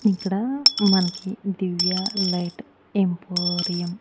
ఇక్కడ మనకి Divya light emporium --